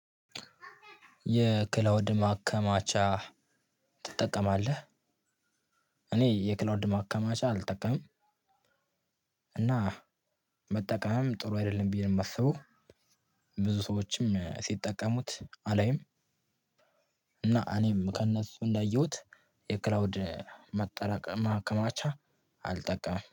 የክላውድ ማከማቻ ትጠቀማለህ? እኔ የክላውድ ማከማቻ አልጠቀምም። እና መጠቀምም ጥሩ አይደለም ብዬ ነው የማስበው። ብዙ ሰዎችም ሲጠቀሙት አላይም። እና እኔም ከእነሱ እንዳየሁት የክላውድ ማከማቻ አልጠቀምም